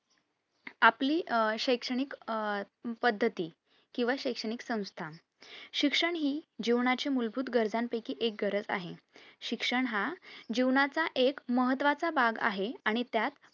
आपली आह शैक्षणिक अह पद्धती किंवा शैक्षणिक संस्था शिक्षण हि जीवनाची मूलभूत गरजां पैकी एक गरज आहे शिक्षण हा जीवनाचा एक महत्वाचा भाग आहे आणि त्यात